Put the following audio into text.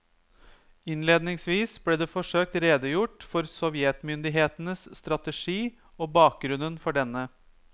Innledningsvis ble det forsøkt redegjort for sovjetmyndighetenes strategi og bakgrunnen for denne.